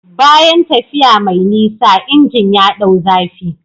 Bayan tafiya mai nisa, injin ya ɗau zafi.